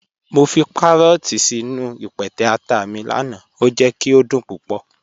Mọ fi kàrọọ̀tì sínu ìpẹtẹ̀ àtà mi lánà, o jẹ̀ kí o dún púpọ̀.